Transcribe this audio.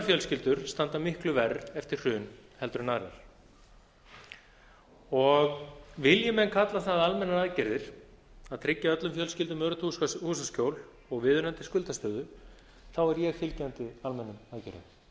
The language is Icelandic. fjölskyldur standa miklu verr eftir hrun en aðrar vilji menn kalla það almennar aðgerðir að tryggja öllum fjölskyldum öruggt húsaskjól og viðunandi skuldastöðu er ég fylgjandi almennum aðgerðum